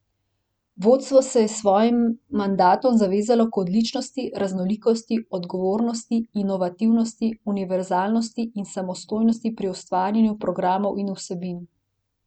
Vodstvo se je s svojim mandatom zavezalo k odličnosti, raznolikosti, odgovornosti, inovativnosti, univerzalnosti in samostojnosti pri ustvarjanju programov in vsebin.